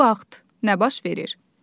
Bu vaxt nə baş verir?